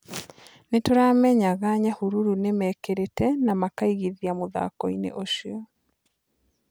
Nĩtũramenyaga Nyahururu nĩmekĩrĩte na makaigithia mũfhakoinĩ ũcio.